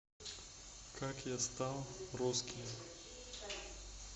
как я стал русским